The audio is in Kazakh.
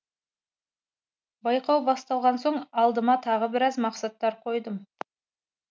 байқау басталған соң алдыма тағы біраз мақсаттар қойдым